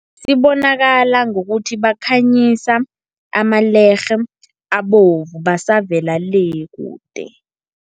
Sibonakala ngokuthi, bakhanyisa amalerhe abovu basavela le, kude.